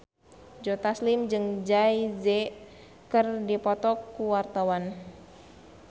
Joe Taslim jeung Jay Z keur dipoto ku wartawan